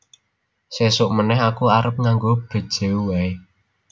Sesok meneh aku arep nganggo Bejeu wae